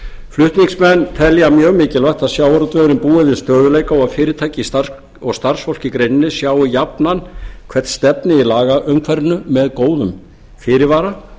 flutningsmenn telja mjög mikilvægt að sjávarútvegurinn búi við stöðugleika og að fyrirtæki og starfsfólk í greininni sjái jafnan hvert stefnir í lagaumhverfinu með góðum fyrirvara